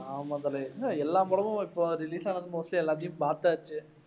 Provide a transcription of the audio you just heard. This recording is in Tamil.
ஆமாம் தல என்ன எல்லா படமும் இப்ப release ஆன மொத்த எல்லாத்தையும் பார்த்தாச்சு.